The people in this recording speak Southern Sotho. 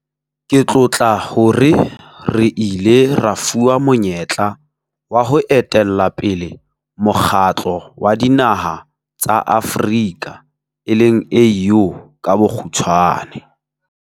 Ke tlotla hore re ile ra fuwa monyetla wa ho etella pele Mokgatlo wa Dinaha tsa Afrika e leng AU ka bokgutshwane.